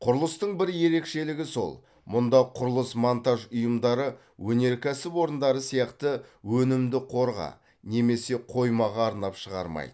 құрылыстың бір ерекшелігі сол мұнда құрылыс монтаж ұйымдары өнеркәсіп орындары сияқты өнімді қорға немесе қоймаға арнап шығармайды